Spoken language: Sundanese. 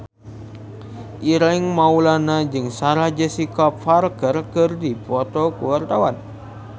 Ireng Maulana jeung Sarah Jessica Parker keur dipoto ku wartawan